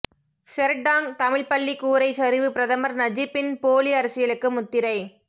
செர்டாங் தமிழ்ப்பள்ளி கூரை சரிவு பிரதமர் நஜிப்பின் போலி அரசியலுக்கு முத்திரை